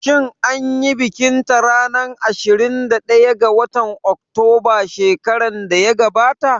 Shin anyi bikin ta ranar ashirin da ɗaya ga watan Oktoba shekaran da ya gabata?